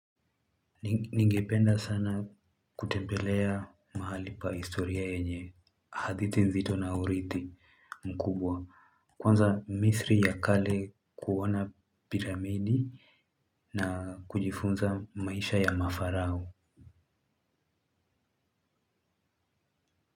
Ningependa sana kutembelea mahali pa historia yenye, hadithi nzito na urithi mkubwa, kwanza misri ya kale kuona piramidi na kujifunza maisha ya mafarao.